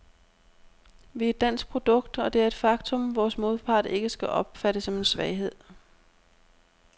Vi er et dansk produkt, og det er et faktum, vores modpart ikke skal opfatte som en svaghed.